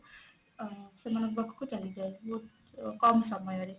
ଅ ସେଆମାନଙ୍କ ପାଖକୁ ଚାଲିଯାଏ ବହୁତ କମ ସମୟ ରେ